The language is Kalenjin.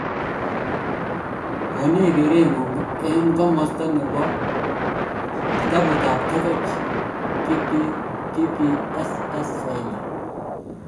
Konech kerengung en komosta nebo Facebook, BBCSwahili.